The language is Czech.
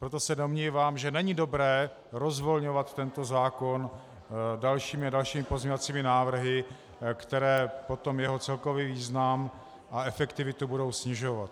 Proto se domnívám, že není dobré rozvolňovat tento zákon dalšími a dalšími pozměňovacími návrhy, které potom jeho celkový význam a efektivitu budou snižovat.